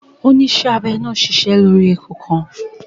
Onísẹ́abẹ náà ṣiṣẹ́ abẹ lórí eku kan